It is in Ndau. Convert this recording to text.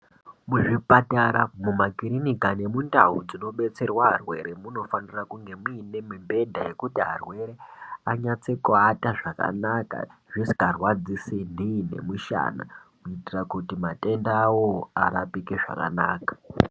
Muzvipatara, mumakirinika, nemundau dzinobatsirwa arwere munofanire kunge muinemibhedha yekuti arwere anyatso kuata zvakanaka zvisingarwadzisi nhii nemushana kuitire kuti matenda awowo arapike zvakanaka.